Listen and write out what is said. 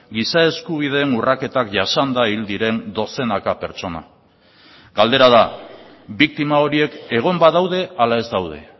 giza eskubideen urraketak jasanda hil diren dozenaka pertsona galdera da biktima horiek egon badaude ala ez daude